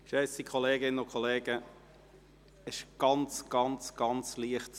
Geschätzte Kolleginnen und Kollegen, es ist ein klein wenig zu laut.